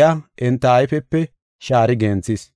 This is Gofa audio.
iya enta ayfepe shaari genthis.